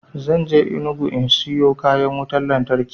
Zan je enugu in siyo kayan wutan lantarki